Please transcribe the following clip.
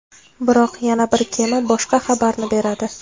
Biroq yana bir kema boshqa xabarni beradi.